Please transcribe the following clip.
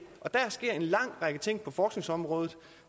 og der sker en lang række ting på forskningsområdet